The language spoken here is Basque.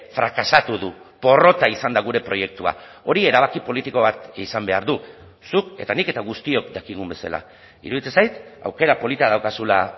frakasatu du porrota izan da gure proiektua hori erabaki politiko bat izan behar du zuk eta nik eta guztiok dakigun bezala iruditzen zait aukera polita daukazula